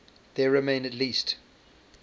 there remain at least